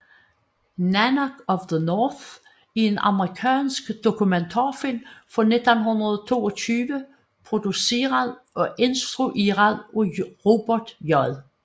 Nanook of the North er en amerikansk dokumentarfilm fra 1922 produceret og instrueret af Robert J